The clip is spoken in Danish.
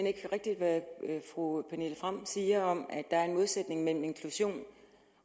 ikke rigtigt hvad fru pernille frahm siger om at der er en modsætning mellem inklusion